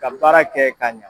Ka baara kɛ ka ɲan